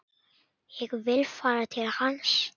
Ég vil fara til hans.